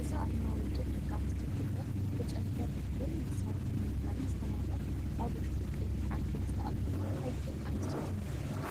እዚ ኣርማ ውድብ ደቂ ኣንስትዮ ትግራይ፡ ብጨንፈር እኽልን መሳርሒ ምፍራይን ዝተማልአ፡ ኣብ ውሽጢ ቀይሕ ዓንኬል ዝተቐመጠ ሓይሊ ደቂ ኣንስትዮ ዘመልክት እዩ።